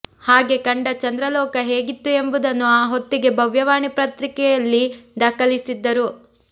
ಹಾಗೆ ಕಂಡ ಚಂದ್ರಲೋಕ ಹೇಗಿತ್ತು ಎಂಬುದನ್ನು ಆ ಹೊತ್ತಿಗೆ ಭವ್ಯವಾಣಿ ಪತ್ರಿಕೆಯಲ್ಲಿ ದಾಖಲಿಸಿದ್ದರು